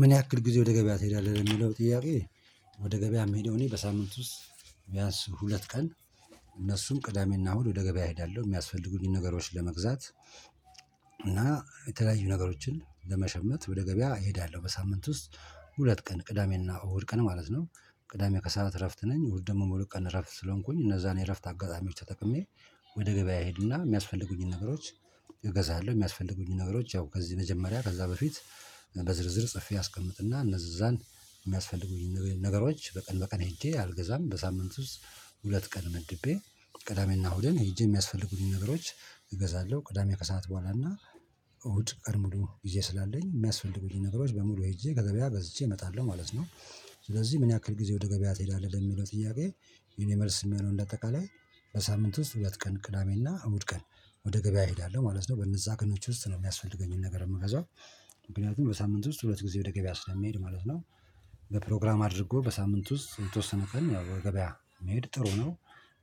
ምን ያክል ጊዜ ወደ ገበያ ትሄዳለህ የሚለው ጥያቄ? ወደ ገበያ የምሄደው እኔ በሳምንት ውስጥ ቢያንስ ሁለት ቀን። እነሱም ቅዳሜና እሁድ ወደ ገበያ እሄዳለሁ የሚያስፈልጉኝን ነገሮች ለመግዛት። እና የተለያዩ ነገሮችን ለመሸመት ወደ ገበያ እሄዳለሁ በሳምንት ውስጥ ሁለት ቀን ቅዳሜና እሁድ ቀን ማለት ነው። ቅዳሜ ከሰአት እረፍት ነኝ እሁድ ደግሞ ሙሉ ቀን እረፍት ስለሆንኩኝ እነዛን የእረፍት አጋጣሚዎች ተቀምዬ ወደ ገበያ እሄድና የሚያስፈልጉኝን ነገሮች እገዛለሁ። የሚያስፈልጉኝን ነገሮች ያው ከዚህ መጀመሪያ ከዛ በፊት በዝርዝር ጽፌ አስቀምጥና እነዛን የሚያስፈልጉኝ ነገሮች በቀን በቀን ሄጄ አልገዛም በሳምንቱ ውስጥ ሁለት ቀን መድቤ ቅዳሜና እሁድን ሄጄ የሚያስፈልጉኝ ነገሮች እገዛለሁ። ቅዳሜ ከሰአት በኋላ እና እሁድ ቀድሞ ሙሉ ጊዜ ስላለኝ የሚያስፈልጉኝ ነገሮች በሙሉ ሄጄ ከገበያ ገዝቼ እመጣለሁ ማለት ነው። ስለዚህ ምን ያክል ጊዜ ወደ ገበያ ትሄዳለህ ለሚለው ጥያቄ? የኔ መልስ የሚሆነው እንደ አጠቃላይ። በሳምንት ውስጥ ሁለት ቀን ቅዳሜና አሁን ቀን ወደ ገበያ እሄዳለሁ ማለት ነው በነዛ ቀኖች ውስጥ ነው የሚያስፈልገኝን ነገር የምትገዛው። ምክንያቱም በሳምንት ውስጥ ሁለት ጊዜ ወደ ገበያ ስለሚሄድ ማለት ነው። በፕሮግራም አድርጎ በሳምንት ውስጥ የተወሰነ ቀን ገበያ መሄድ ጥሩ ነው።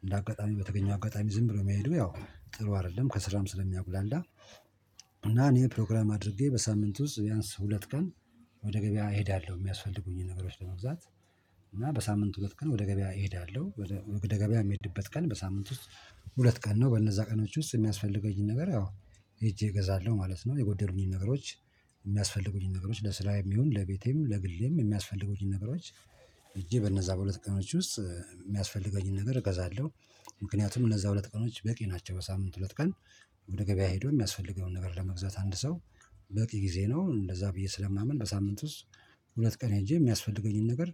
እንደ አጋጣሚ በተገኘው አጋጣሚ ዝም ብሎ መሄዱ ያው ጥሩ አይደለም ከስራም ስለሚያጉላልዳ። እና እኔ ፕሮግራም አድርጌ በሳምንት ውስጥ ቢያንስ ሁለት ቀን ወደ ገበያ እሄዳለሁ የሚያስፈልጉኝ ነገሮች ለመግዛት። እና በሳምንት ሁለት ቀን ወደ ገበያ እሄዳለሁ ወደ ገቢያ የምሄድበት ቀን በሳምንት ውስጥ። ሁለት ቀን ነው በነዛ ቀኖች ውስጥ የሚያስፈልገኝን ነገር ያው ሄጄ እገዛለሁ ማለት ነው። የጎደሉኝን ነገሮች። የሚያስፈልጉኝ ነገሮች ለስራዬም ይሁን ለቤቴም ለግሌም የሚያስፈልጉኝ ነገሮች። ሄጄ በነዛ በሁለት ቀኖች ውስጥ የሚያስፈልገኝን ነገር እገዛለሁ። ምክንያቱም እነዛ ሁለት ቀኖች በቂ ናቸው በሳምንት ሁለት ቀን። ወደ ገበያ ሄዶ የሚያስፈልገውን ነገር ለመግዛት አንድ ሰው። በቂ ጊዜ ነው እንደዛ ብዬ ስለማምን በሳምንት ውስጥ። ሁለት ቀን የሄጄ የሚያስፈልገኝን ነገር።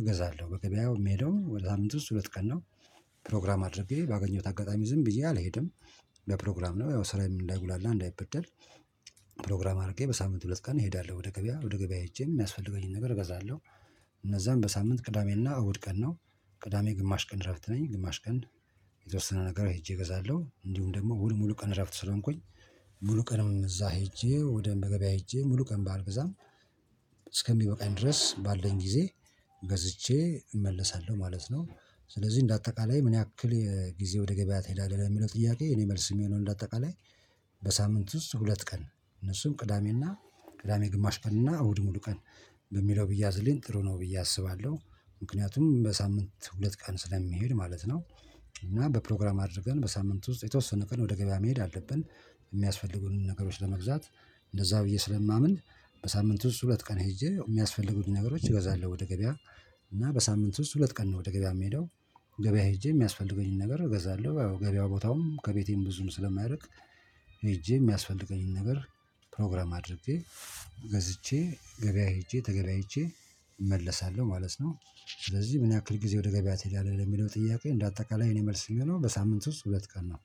እገዛለሁ በገበያው የምሄደው ወደ ሳምንት ውስጥ ሁለት ቀን ነው። ፕሮግራም አድርጌ ባገኘሁት አጋጣሚ ዝም ብዬ አልሄድም። ለፕሮግራም ነው ያው ስራዬን እንዳይጉላላ እንዳይበደል። ፕሮግራም አድርጌ በሳምንቱ ሁለት ቀን እሄዳለሁ ወደ ገበያ ወደ ገበያ ሄጄ የሚያስፈልገኝን ነገር እገዛለሁ። እነዛን በሳምንት ቅዳሜና እሁድ ቀን ነው። ቅዳሜ ግማሽ ቀን እረፍት ነኝ ግማሽ ቀን። የተወሰነ ነገር ሄጄ እገዛለሁ እንዲሁም ደግሞ እሁድ ሙሉ ቀን እረፍት ስለሆንኩኝ። ሙሉ ቀንም እዛ ሄጄ ወደ ገበያ ሄጄ ሙሉ ቀን ባልገዛም። እስከሚበቃኝ ድረስ ባለን ጊዜ ገዝቼ እመለሳለሁ ማለት ነው። ስለዚህ እንደ አጠቃላይ ምን ያክል ጊዜ ወደ ገበያ ትሄዳለህ የሚለው ጥያቄ? የኔ መልስ የሚሆነው እንደ አጠቃላይ። በሳምንቱ ሁለት ቀን እነሱም ቅዳሜና ቅዳሜ ግማሽ ቀንና እሁድ ሙሉ ቀን። በሚለው ብያዝልኝ ጥሩ ነው ብዬ አስባለሁ። ምክንያቱም በሳምንት ሁለት ቃል ስለሚሄድ ማለት ነው። እና በፕሮግራም አድርገን በሳምንት ውስጥ የተወሰነ ቀን ወደ ገበያ መሄድ አለብን። የሚያስፈልጉን ነገሮች ለመግዛት እንደዛ ብዬ ስለማምን። በሳምንት ሁለት ቀን ሄጄ የሚያስፈልጉኝ ነገሮች እገዛለሁ ወደ ገበያ። እና በሳምንት ውስጥ ሁለት ቀን ነው ወደ ገበያ የምሄደው። ገበያ ሄጄ የሚያስፈልገኝን ነገር እገዛለሁ ገበያው ቦታውም ከቤቴም ብዙም ስለማይርቅ። ሄጄ የሚያስፈልገኝን ነገር። ፕሮግራም አድርጌ ገዝቼ ገበያ ሄጄ ተገበያይቼ እመለሳለሁ ማለት ነው። ስለዚህ ምን ያክል ጊዜ ወደ ገበያቴ ትሄዳለህ ለሚለው ጥያቄ? እንደ አጠቃላይ እኔ መልስ የሚሆነው በሳምንት ውስጥ ሁለት ቀን ነው።